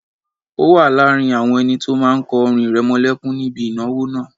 O wà láàrin àwọn ẹni tó máa kọ orin ìrẹmọlẹ́kún níbi ìnáwó náà